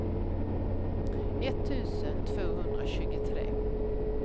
etttusen tvåhundratjugotre